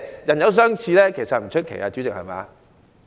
人有相似並不出奇，主席，對嗎？